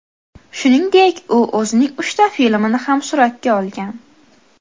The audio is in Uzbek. Shuningdek, u o‘zining uchta filmini ham suratga olgan.